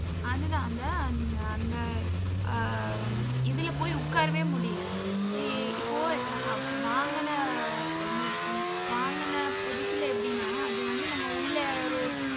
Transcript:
அதுதான் அந்த அந்த அந்த அஹ் இதுல போய் உட்காரவே முடியலை. அஹ் இப்போ அஹ் வாங்கின பு~ வாங்கின புதுசுல, எப்படின்னா அது வந்து நம்ம உள்ள யாரோ